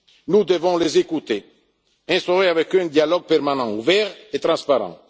européens. Nous devons les écouter, instaurer avec eux un dialogue permanent, ouvert et transparent.